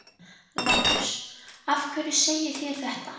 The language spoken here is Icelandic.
LÁRUS: Af hverju segið þér þetta?